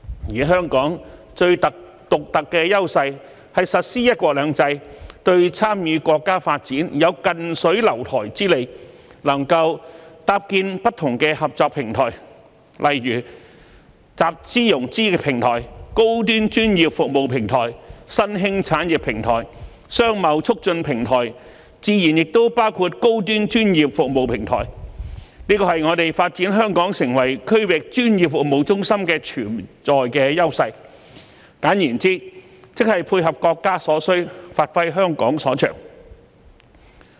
而香港最獨特的優勢，是實施"一國兩制"，對參與國家發展有"近水樓台"之利，能夠搭建不同的合作平台，例如集資融資平台、高端專業服務平台、新興產業平台、商貿促進平台，自然亦包括高端專業服務平台，這是我們發展香港成為區域專業服務中心的潛在優勢，簡言之，即配合國家所需，發揮香港所長。